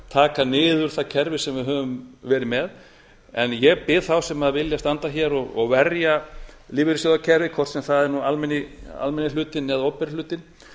taka niður það kerfi sem við höfum verið með en ég bið þá sem vilja standa hér og verja lífeyrissjóðakerfið hvort sem það er almenni hlutinn eða opinberi hlutinn